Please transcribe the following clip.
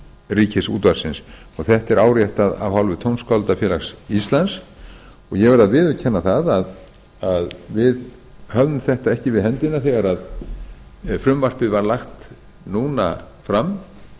ríkisútvarpsins þetta er áréttað af hálfu tónskáldafélags íslands og ég verð að viðurkenna að við höfðum þetta ekki við henda þegar frumvarpið var lagt núna fram